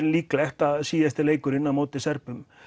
líklegt að leikurinn á móti Serbum